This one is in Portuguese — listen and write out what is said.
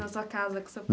Na sua casa, com seu